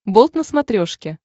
болт на смотрешке